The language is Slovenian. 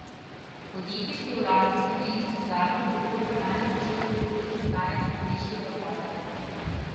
Podjetje, ki je v lasti slovenskih zadrug, je oktobra lani začelo postopek iskanja strateškega partnerja.